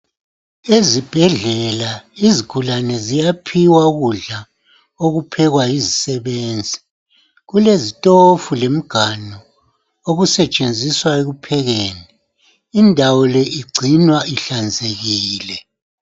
Ezibhedlela izigulane ziyaphiwa ukudla okuphekwa yizisebenzi. Kulezitofu lemiganu okusetshenziswa ekuphekeni. Indawo le igcinwa ihlanzekile .